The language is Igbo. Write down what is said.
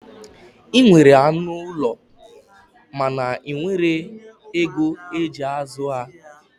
Ị nwere anụ ụlọ mana ị nweghi ego ị ji azụ ha.